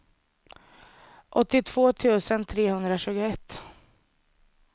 åttiotvå tusen trehundratjugoett